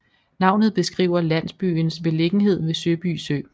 Navnet beskriver landbsyens beliggendhed ved Søby Sø